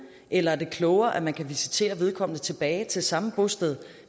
eller er det klogere at man kan visitere vedkommende tilbage til samme bosted